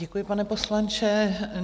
Děkuji, pane poslanče.